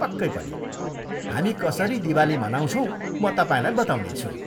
पक्कै पनि, हामी कसरी दिवाली मनाउँछौँ म तपाईँलाई बताउनेछु।